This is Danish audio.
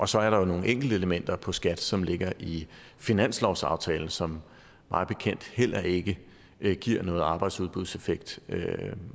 så er der jo nogle enkelte elementer på skat som ligger i finanslovsaftalen som mig bekendt heller ikke ikke giver noget arbejdsudbudseffekt